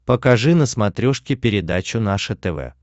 покажи на смотрешке передачу наше тв